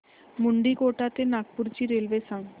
मुंडीकोटा ते नागपूर ची रेल्वे सांगा